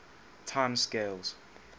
time scales